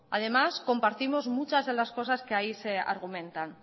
además compartimos muchas de las cosas que ahí se argumentan